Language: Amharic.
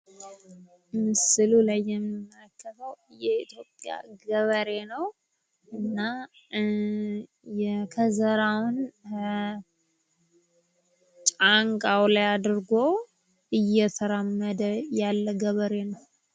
ምስሉ ላይ የምንመለከተው የኢትዮጵያን ገበሬ ነው። እና ከዘራውን ጫንቃው ላይ አድርጎ እየተራመደ ያለ ገበሬ ነው።